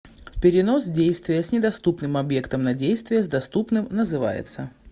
перенос действия с недоступным объектом на действие с доступным называется